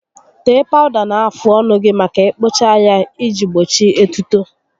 Tee pawụda na-afụ ọnụ gị ma ị kpụchaa ya iji gbochi etuto